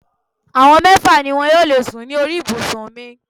Àwọn mẹ́fà ni wọn yóò lè sùn ní orí ibùsùn mi.